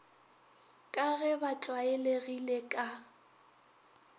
ka ge ba tlwaelegile ka